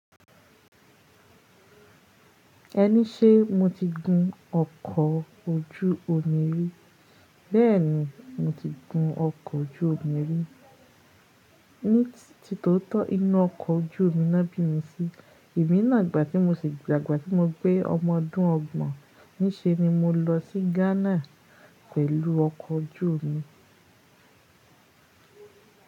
Ẹní ṣe mo ti gun ọkọ̀ ojú omi rí? Béèni mo ti gun ọkọ̀ ojú omi rí, ní ti tó tọ́ inú ọkọ̀ ojú omi ná bí mi sí. Èmi náà ìgbà tí mo sì, dagbà tí mo pe ọmọ ọdún ọgbọ̀n ní ṣe ni mó lọ sí Ghana pẹ̀lú ọkọ̀ ojú omi.